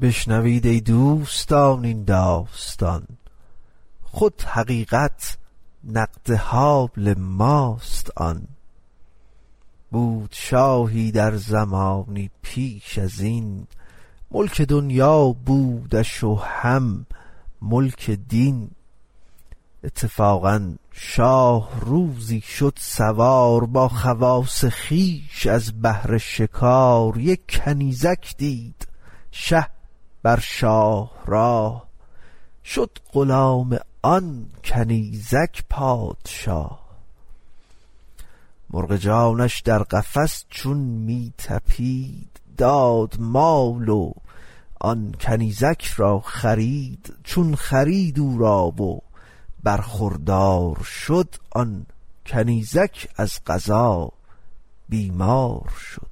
بشنوید ای دوستان این داستان خود حقیقت نقد حال ماست آن بود شاهی در زمانی پیش ازین ملک دنیا بودش و هم ملک دین اتفاقا شاه روزی شد سوار با خواص خویش از بهر شکار یک کنیزک دید شه بر شاه راه شد غلام آن کنیزک پادشاه مرغ جانش در قفس چون می طپید داد مال و آن کنیزک را خرید چون خرید او را و برخوردار شد آن کنیزک از قضا بیمار شد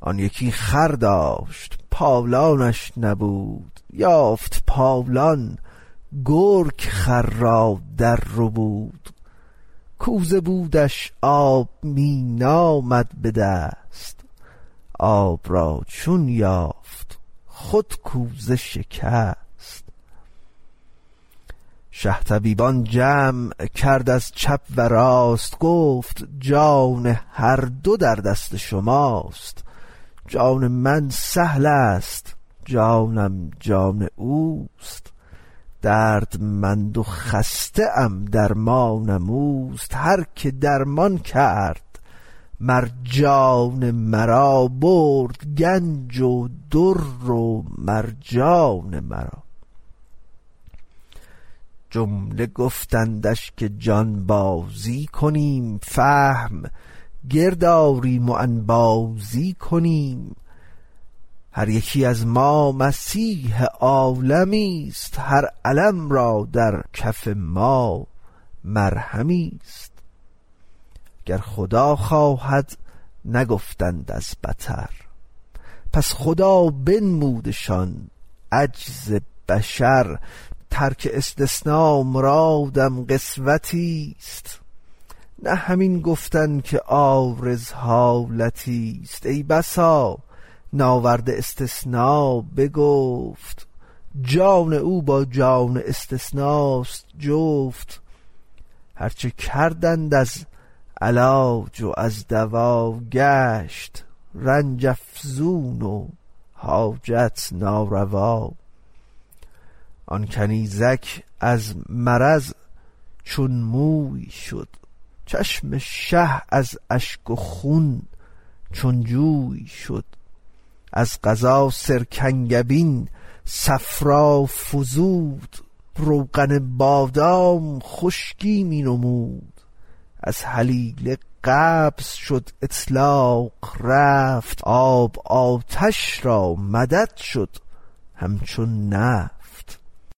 آن یکی خر داشت پالانش نبود یافت پالان گرگ خر را در ربود کوزه بودش آب می نامد بدست آب را چون یافت خود کوزه شکست شه طبیبان جمع کرد از چپ و راست گفت جان هر دو در دست شماست جان من سهلست جان جانم اوست دردمند و خسته ام درمانم اوست هر که درمان کرد مر جان مرا برد گنج و در و مرجان مرا جمله گفتندش که جانبازی کنیم فهم گرد آریم و انبازی کنیم هر یکی از ما مسیح عالمیست هر الم را در کف ما مرهمیست گر خدا خواهد نگفتند از بطر پس خدا بنمودشان عجز بشر ترک استثنا مرادم قسوتی ست نه همین گفتن که عارض حالتی ست ای بسا ناورده استثنا به گفت جان او با جان استثناست جفت هرچه کردند از علاج و از دوا گشت رنج افزون و حاجت ناروا آن کنیزک از مرض چون موی شد چشم شه از اشک خون چون جوی شد از قضا سرکنگبین صفرا فزود روغن بادام خشکی می نمود از هلیله قبض شد اطلاق رفت آب آتش را مدد شد همچو نفت